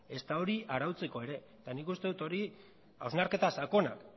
ezta hori arautzeko ere eta nik uste dut hori hausnarketa sakona